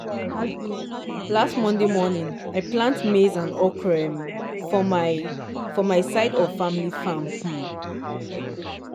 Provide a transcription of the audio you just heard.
last monday morning i plant maize and okro um for my for my side of family farm. um